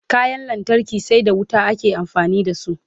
kayan lantarki sai da wuta ake amfani da su